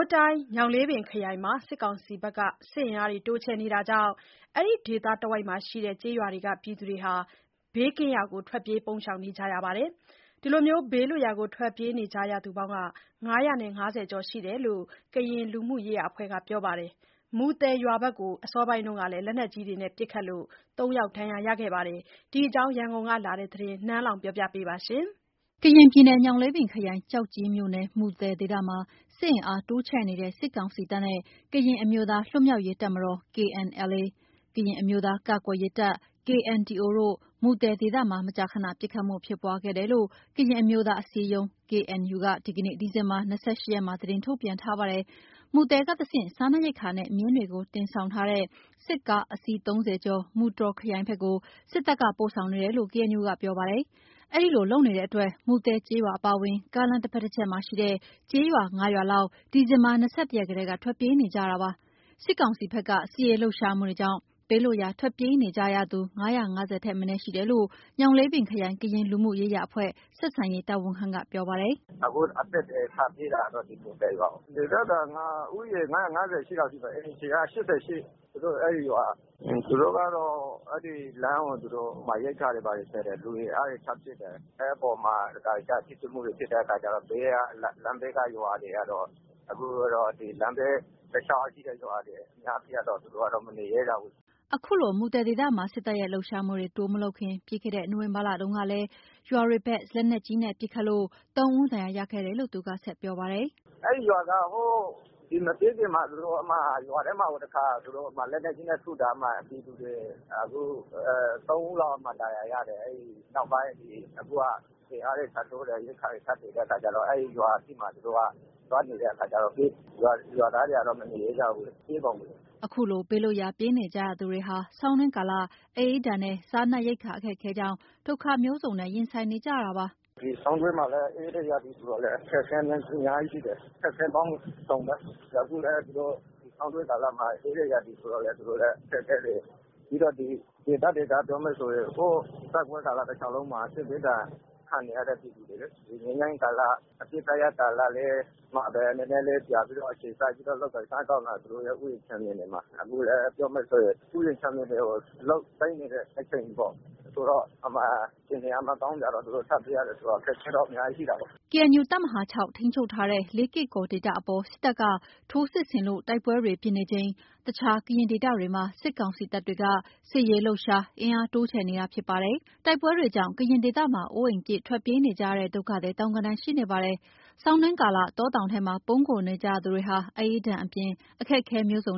းတိုင်း ညောင်လေးပင်ခရိုင်မှာ စစ်ကောင်စီက စစ်အင်အားတိုးချဲ့နေတာကြောင့် အဲဒီဒေသတဝိုက်ရွာတွေက ပြည်သူတွေ ဘေးကင်းရာထွက်ပြေး ပုန်းရှောင်နေကြပါတယ်။ ဘေးလွတ်ရာ ထွက်ပြေးနေကြသူ ၅၅၀ ကျော်ရှိတယ်လို့ ကရင်လူမှုရေးရာအဖွဲ့က ပြောပါတယ်။ မူသယ်ရွာဘက်ကို အစောပိုင်းကလည်းလက်နက်ကြီးတွေနဲ့ ပစ်ခတ်လို့ ၃ ယောက်ဒဏ်ရာရခဲ့ပါတယ်။ ဒီအကြောင်း ရန်ကုန်ကလာတဲ့ သတင်း နန်းလောဝ်ကတင်ပြပေးထားပါတယ်။ ကရင်ပြည်နယ်၊ ညောင်လေးပင်ခရိုင် ကျောက်ကြီးမြို့နယ် မူသယ်ဒေသမှာ စစ်အင်အားတိုးချဲ့နေတဲ့ စစ်ကောင်စီတပ်နဲ့ ကရင်အမျိုးသားလွတ်မြောက်ရေးတပ်မတော် KNLA ၊ ကရင်အမျိုးသားကာကွယ်ရေးတပ် KNDO တို့ မူသယ်ဒေသမှာ မကြာခဏ ပစ်ခတ်မှုတွေဖြစ်ပွားခဲ့တယ်လို့ ကရင်အမျိုးသားအစည်းအရုံး KNU က ဒီနေ့ ဒီဇင်ဘာ ၂၈ ရက်မှာ သတင်းထုတ်ပြန်ထားပါတယ်။ မူသယ်ကတဆင့်စားနပ်ရိက္ခာနဲ့ မြင်းတွေတင်ဆောင်ထားတဲ့ စစ်ကား အစီး၃၀ ကို မူတြော်ခရိုင်ဘက်ကို စစ်တပ်က ပို့ဆောင်နေတယ်လို့ KNU ကပြောပါတယ်။ အဲဒီလိုလုပ်နေတဲ့အတွက် မူသယ်ကျေးရွာအပါအဝင် ကားလမ်းတဘက်တချက်မှာရှိတဲ့ ကျေးရွာ ၅ ရွာလောက် ဒီဇင်ဘာ ၂၁ ရက်ကတည်းက ထွက်ပြေးနေကြရပါတယ်။ စစ်ကောင်စီဘက်က စစ်ရေးလှုပ်ရှားမှုတွေကြောင့် ဘေးလွတ်ရာ ထွက်ပြေးနေကြသူ ၅၅၀ ထက်မနည်းရှိတယ်လို့ ညောင်လေးပင်ခရိုင် ကရင်လူမှုရေးရာအဖွဲ့ ဆက်ဆံရေးတာဝန်ခံက ပြောပါတယ်။ “အခု အသစ်တွေ ထပ်ပြေးတာကတော့ ဒီမူသယ်ရွာ၊ ဒေသခံက ဦးရေ ၅၅၈ လောက်ရှိပါတယ်။ အိမ်ခြေက ၈၈ အဲ့ဒီရွာက။ (စစ်ကောင်စီ)သူတို့က အဲ့ဒီလမ်းကို သူတို့ ရိက္ခာတွေ ဘာတွေသယ်တယ်။ လူအင် အားတွေ ထပ်ဖြည့်တယ်။ အဲ့အပေါ်မှာ တခါတလေကျ ထိတွေ့မှုတွေ ဖြစ်တဲ့အခါကျတော့ အခုတော့ ဒီလမ်းဘေးတလျှောက်ရှိတဲ့ ရွာတွေအများကြီးကတော့ သူတို့ကတော့ မနေရဲကြဘူး။” အခုလို မူသယ်မှာ စစ်တပ်ရဲ့လှုပ်ရှားမှုတွေ တိုးမလုပ်ခင် ပြီးခဲ့တဲ့ နိုဝင်ဘာလတုန်းကလည်း ရွာတွေဘက် လက်နက်ကြီးနဲ့ ပစ်ခတ်လို့ သုံးဦး ဒဏ်ရာရခဲ့ရတယ်လို့ သူက ဆက်ပြောပါတယ်။ “အဲ့ဒီရွာကမပြေးခင်မှာ ရွာထဲမှာ တခါ သူတို့ လက်နက်ကြီးနဲ့ထုတာ၊ အဲ့ဒီမှာ ပြည်သူသုံးဦးလောက် ဒဏ်ရာရတယ်။ အဲ့နောက်ပိုင်း အခုက အင်အားတွေ ထပ်တိုးတယ်။ ရိက္ခာတွေ ထပ်ဖြည့်နေတဲ့အခါကျတော့ အဲ့ဒီအရှေ့မှာ သူတို့က သွားနေတဲ့အခါကျတော့ ရွာသားတွေကတော့ မနေရဲကြဘူးလေး။ ပြေးကုန်ပြီ။” အခုလို ဘေးလွတ်ရာ ပြေးနေကြရသူတွေဟာ ဆောင်းတွင်းကာလ အအေးဒဏ်နဲ့ စားရိက္ခာအခက်အခဲကြောင့် ဒုက္ခမျိုးစုံရင်ဆိုင်နေကြရပါတယ်။ “ဒီဆောင်းတွင်းမှာ အေးတဲ့ရာသီဆိုတော့ အခက်အခဲကအများကြီးရှိတယ်။ အခက်အခဲပေါင်းစုံပဲ။ အခုလည်း ဆောင်းတွင်းကာလမှာ အေးတဲ့ရာသီဆိုတော့လည်း သူတို့လည်း အခက်အခဲတွေ၊ ပြီးတော့ ဒေသခံပြောမယ်ဆိုရင် ဟို…တိုက်ပွဲကာလတလျှောက်လုံးမှာ စစ်ဘေးဒဏ်ခံနေရတဲ့ ပြည်သူတွေလေ။ ဒီငြိမ်းချမ်းရေးကာလ အပစ်ရပ်စဲရေးကာလမှာပဲ နည်းနည်းလေး ပြန်ပြီးတော့ အခြေစိုက်ပြီးတော့ လုပ်ကိုင်စားသောက်နေတယ်။ အခုလည်း ပြောမယ်ဆိုရင် ဥယျာဉ်ခြံမြေမှာ အလုပ်သိမ်းတဲ့အချိန်ပေါ့။ ဆိုတော့ အဲ့မှာ အခြေအနေက မကောင်းတော့ သူတို့ထပ်ပြေးရတယ်ဆိုတော့ အခက်အခဲက အများကြီးရှိတာပေါ့။” KNU တပ်မဟာ ၆ ထိန်းချုပ်ထားတဲ့ လေးကေ့ကော်ဒေသအပေါ် စစ်တပ်က ထိုးစစ်ဆင်လို့ တိုက်ပွဲတွေဖြစ် နေချိန် တခြားကရင်ဒေသတွေမှာ စစ်ကောင်စီတပ်တွေ စစ်ရေးလှုပ်ရှား၊ အင်းအားတိုးချဲ့ နေတာဖြစ်ပါတယ်။ တိုက်ပွဲတွေကြောင့် ကရင်ဒေသမှာ အိုးအိမ်ပစ်ထွက်ပြေးနေကြရတဲ့ ဒုက္ခသည် သောင်းဂဏန်းရှိနေပါတယ်။ ဆောင်တွင်းကာလ တောတောင်ထဲမှာ ပုန်းခိုနေကြရသူတွေဟာ အအေးဒဏ်အပြင် အခက်အခဲမျိုးစုံ